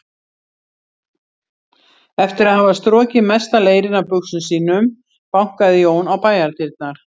Eftir að hafa strokið mesta leirinn af buxum sínum bankaði Jón á bæjardyrnar.